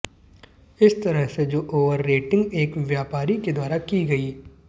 इस तरह से जो ओवर रेटिंग एक व्यापारी के द्वारा की गई